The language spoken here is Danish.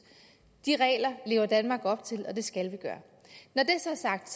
de regler lever danmark op til og det skal vi gøre når det så er sagt